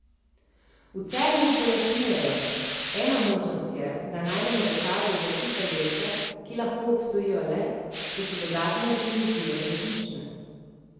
V Cernu pojasnjujejo: 'Ena možnost je, da najdemo dokaze za tiste delce, ki lahko obstojijo le, če so dodatne dimenzije resnične.